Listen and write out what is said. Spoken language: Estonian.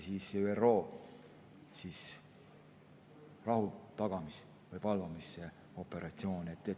Siis on ka ÜRO rahutagamis- või valvamisoperatsioonid.